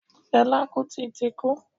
Fẹlá Kútì ti kú.